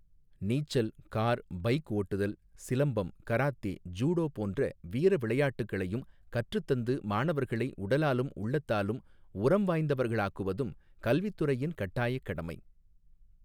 நீச்சல் car bike ஓட்டுதல் சிலம்பம் கராத்தே ஜூடோ போன்ற வீர விளையாட்டுகளையும் கற்றுத்தந்து மாணவர்களை உடலாலும் உள்ளத்தாலும் உரம் வாய்ந்தவர்களாக்குவதும் கல்வித்துறையின் கட்டாயக் கடமை.